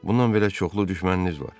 Bundan əlavə çoxlu düşməniniz var.